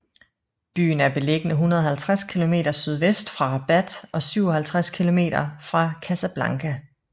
Byen er beliggende 150 km sydvest for Rabat og 57 km fra Casablanca